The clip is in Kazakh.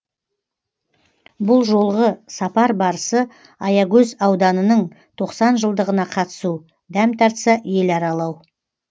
бұл жолғы сапар барысы аягөз ауданының тоқсан жылдығына қатысу дәм тартса ел аралау